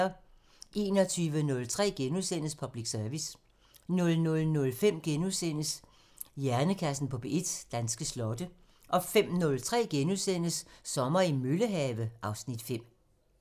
21:03: Public Service * 00:05: Hjernekassen på P1: Danske slotte * 05:03: Sommer i Møllehave (Afs. 5)*